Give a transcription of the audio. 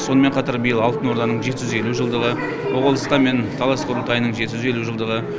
сонымен қатар биыл алтын орданың жеті жүз елу жылдығы моғолстан мен тараз құрылтайының жеті жүз елу жылдығы